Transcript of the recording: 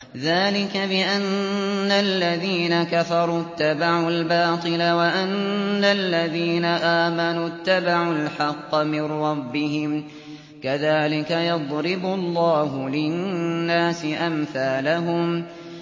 ذَٰلِكَ بِأَنَّ الَّذِينَ كَفَرُوا اتَّبَعُوا الْبَاطِلَ وَأَنَّ الَّذِينَ آمَنُوا اتَّبَعُوا الْحَقَّ مِن رَّبِّهِمْ ۚ كَذَٰلِكَ يَضْرِبُ اللَّهُ لِلنَّاسِ أَمْثَالَهُمْ